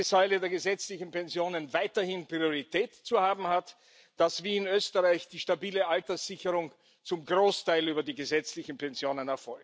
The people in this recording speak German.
Die erste Säule der gesetzlichen Pensionen soll weiterhin Priorität haben, wie in Österreich erfolgt die stabile Alterssicherung zum Großteil über die gesetzlichen Pensionen.